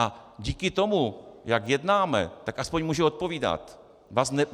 A díky tomu, jak jednáme, tak aspoň může odpovídat.